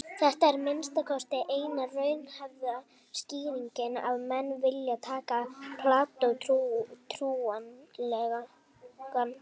Þetta er að minnsta kosti eina raunhæfa skýringin ef menn vilja taka Plató trúanlegan.